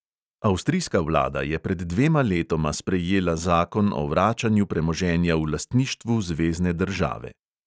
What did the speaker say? Avstrijska vlada je pred dvema letoma sprejela zakon o vračanju premoženja v lastništvu zvezne države.